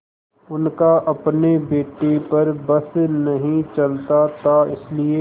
उनका अपने बेटे पर बस नहीं चलता था इसीलिए